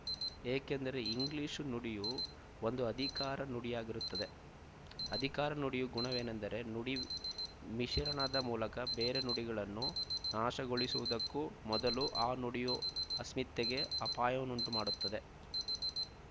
ಏಕೆಂದರೆ ಇಂಗ್ಲೀಷು ನುಡಿಯೂ ಒಂದು ಅಧಿಕಾರ ನುಡಿಯಾಗಿರುತ್ತದೆ ಅಧಿಕಾರ ನುಡಿಯ ಗುಣವೇನಂದರೆ ನುಡಿ ಮಿಶರಣದ ಮೂಲಕ ಬೇರೆ ನುಡಿಗಳನ್ನು ನಾಶಗೊಳಿಸುವುದಕ್ಕೂ ಮೊದಲು ಆ ನುಡಿಯ ಅಸ್ಮಿತೆಗೆ ಅಪಾಯವನ್ನುಂಟು ಮಾಡುತ್ತದೆ